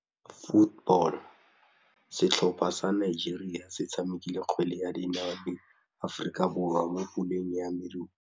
Setlhopha sa Nigeria se tshamekile kgwele ya dinaô le Aforika Borwa mo puleng ya medupe.